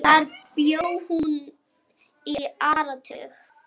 Þar bjó hún í áratug.